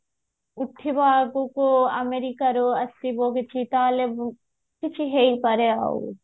ଉଠିବ ଆଗକୁ ଆମେରିକାର ଆସିବ ଦେଖିକି ତାହାଲେ ମୁଁ କିଛି ହେଇପାରେ ଆଉ